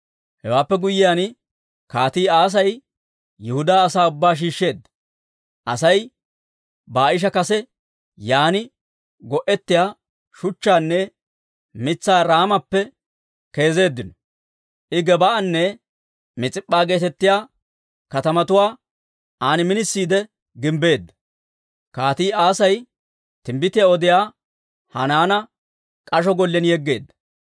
Hewaappe guyyiyaan, Kaatii Asay Yihudaa asaa ubbaa shiishsheedda; Asay Baa'ishi kase yaan go'ettiyaa shuchchaanne mitsaa Raamappe keezeeddino. I Gebaa'anne Mis'ip'p'a geetettiyaa katamatuwaa an minisiide gimbbeedda.